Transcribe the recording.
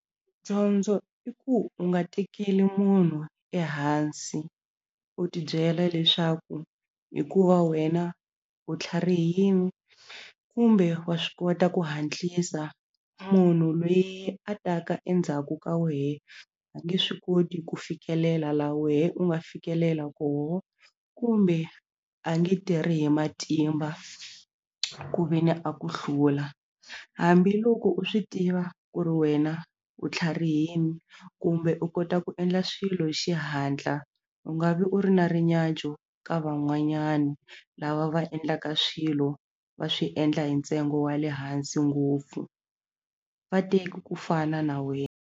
Dyondzo i ku u nga tekeli munhu ehansi u ti byela leswaku hikuva wena u tlharihini kumbe wa swi kota ku hatlisa munhu loyi a taka endzhaku ka wehe a nge swi koti ku fikelela la wehe u nga fikelela koho kumbe a nge tirhi hi matimba ku ve ni a ku hlula hambiloko u swi tiva ku ri wena u tlharihini kumbe u kota ku endla swilo hi xihatla u nga vi u ri na rinyadyo ka van'wanyana lava va endlaka swilo va swi endla hi ntsengo wa le hansi ngopfu va teki ku fana na .